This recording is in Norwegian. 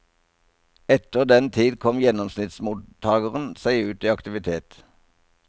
Etter den tid kom gjennomsnittsmottageren seg ut i aktivitet.